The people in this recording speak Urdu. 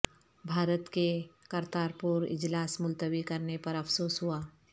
بھارت کے کرتارپور اجلاس ملتوی کرنے پر افسوس ہوا